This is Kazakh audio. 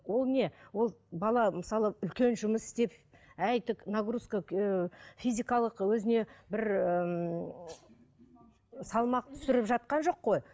ол не ол бала мысалы үлкен жұмыс істеп нагрузка ыыы физикалық өзіне бір ііі салмақ түсіріп жатқан жоқ қой